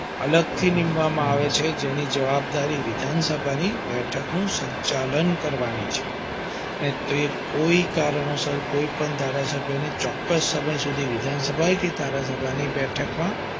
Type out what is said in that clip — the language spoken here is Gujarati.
અલગથી નીમવામાં આવે છે તેની જવાબદારી વિધાન સભાની બેઠક નું સંચાલન કરવાની છે અને તે કોઈ કારણોસર કોઈ પણ ધારા સભ્યને ચોક્કસ સમય સુધી વિધાન સભા કે ધારા સભા ની બેઠકમાં